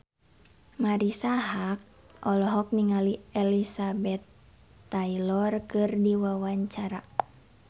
Marisa Haque olohok ningali Elizabeth Taylor keur diwawancara